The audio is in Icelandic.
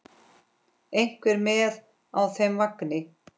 Einhver með á þeim vagni?